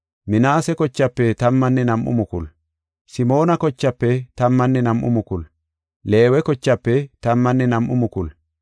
Simoona kochaafe tammanne nam7u mukulu; Leewe kochaafe tammanne nam7u mukulu, Yisakoora kochaafe tammanne nam7u mukulu,